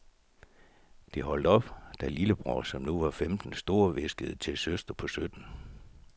Det holdt op, da lillebror, som nu var femten, storhviskede til søster på sytten.